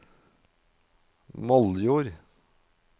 Moldjord